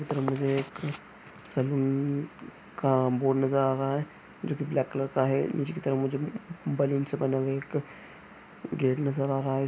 मुझे एक सैलून का बोर्ड नज़र आ रहा हैं जो कि ब्लैक कलर का हैं नीचे की तरफ मुझे बैलून्स से बना हुआ एक गेट नज़र आ रहा हैं।